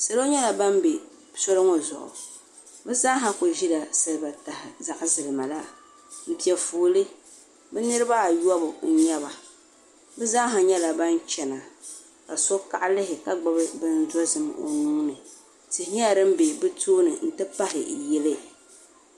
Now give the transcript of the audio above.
salo nyɛla ban be soli ŋɔ zuɣu bɛ zaasa kuli nyɛla ban ʒi siliba taha zaɣ' zilima la m-pe fooli bɛ niriba ayɔbu n-nyɛ ba bɛ zaasa nyɛla ban chana ka so kaɣilihi ka gbubi bindozim tihi nyɛla din be bɛ topni nti pahi yili